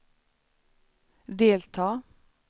delta